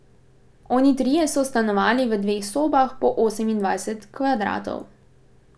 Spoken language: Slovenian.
Oni trije so stanovali v dveh sobah po osemindvajset kvadratov.